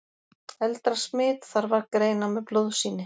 Eldra smit þarf að greina með blóðsýni.